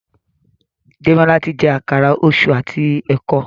Demola tí jé Àkàrà Òṣú àti eko.